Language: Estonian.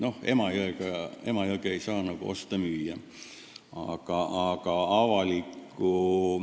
Noh, Emajõge ei saa nagu osta ega müüa.